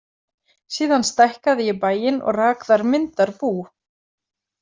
Síðan stækkaði ég bæinn og rak þar myndarbú.